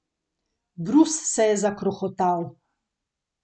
Brus se je zakrohotal.